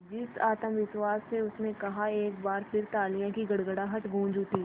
जिस आत्मविश्वास से उसने कहा एक बार फिर तालियों की गड़गड़ाहट गूंज उठी